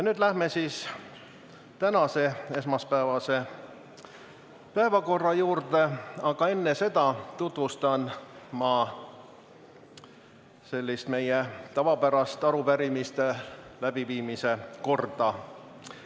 Nüüd läheme tänase, esmaspäevase päevakorra juurde, aga enne seda tutvustan meie tavapärast arupärimiste käsitlemise korda.